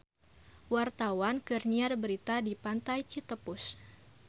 Wartawan keur nyiar berita di Pantai Citepus